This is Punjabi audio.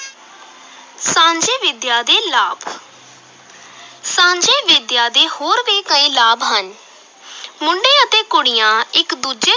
ਸਾਂਝੀ ਵਿਦਿਆ ਦੇ ਲਾਭ ਸਾਂਝੀ ਵਿਦਿਆ ਦੇ ਹੋਰ ਵੀ ਕਈ ਲਾਭ ਹਨ ਮੁੰਡੇ ਅਤੇ ਕੁੜੀਆਂ ਇਕ ਦੂਜੇ